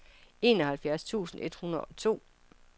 enoghalvfjerds tusind et hundrede og to